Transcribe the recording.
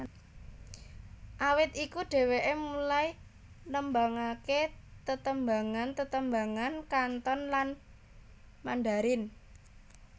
Awit iku dheweké mulai nembangaké tetembangan tetembangan Kanton lan Mandarin